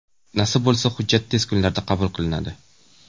Nasib bo‘lsa hujjat tez kunlarda qabul qilinadi.